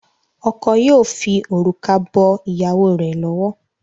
Oko yíò fí orúkọ bó ìyàwó rẹ lọwọ.